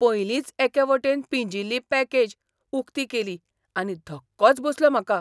पयलींच एके वटेन पिंजिल्ली पॅकेज उक्ती केली आनी धक्कोच बसलो म्हाका!